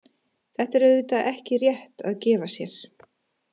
Þetta er auðvitað ekki rétt að gefa sér.